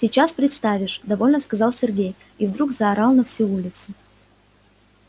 сейчас представишь довольно сказал сергей и вдруг заорал на всю улицу